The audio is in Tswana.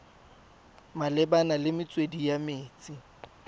malebana le metswedi ya metsi